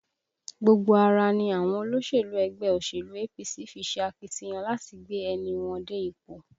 Gbogbo ara ni àwọn olólùfẹ́ ẹgbẹ́ òṣèlú APC fi ṣe akitiyan láti gbé ẹnì wọn dé ipò